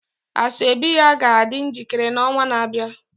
Asoebi ya ga-adị njikere n'ọnwa na-abịa